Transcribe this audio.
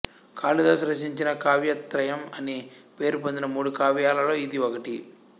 కాళిదాసు రచించిన కావ్యత్రయం అని పేరు పొందిన మూడు కావ్యాలలో ఇది ఒకటి